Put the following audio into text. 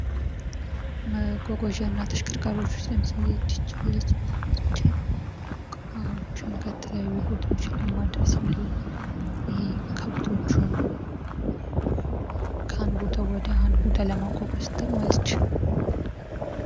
መጓጓዣ እና ተሽከርካሪዎች ውስጥ ለምሳሌ ዴቼ አለች ዲቼ እቃዎችን ከተለያዩ ቦታዎች ለማድረስ እንዲሁም ከብቶችን ከአንድ ቦታ ወደ አንድ ቦታ ለማንቀሳቀስ ትጠቅማለች።